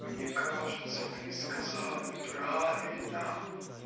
мне кажется ты сказала неправильно